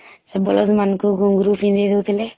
ସେ ବଳଦ ମାନଙ୍କୁ ଘୁଁଙ୍ଗରୁ ପିନ୍ଧେଇ ଦଉଥିଲେ